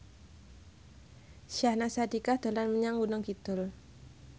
Syahnaz Sadiqah dolan menyang Gunung Kidul